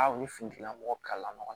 A ni fini tigilamɔgɔ kalala ɲɔgɔn na